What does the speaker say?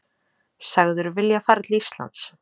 Sagður vilja fara til Íslands